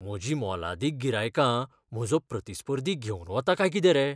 म्हजीं मोलादीक गिरायकां म्हजो प्रतिस्पर्धी घेवन वता काय कितें रे!